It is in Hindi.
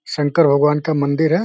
शंकर भगवान का मंदिर है।